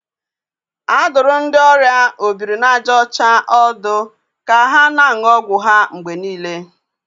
A dụrụ ndị ọrịa obiri na aja ocha ọdụ ka ha na-aṅụ ọgwụ ha mgbe niile.